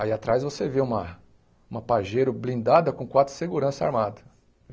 Aí atrás você vê uma uma pajeiro blindada com quatro segurança armado.